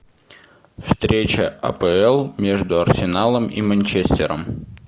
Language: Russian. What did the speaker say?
встреча апл между арсеналом и манчестером